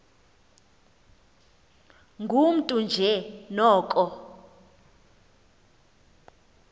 ngumntu nje noko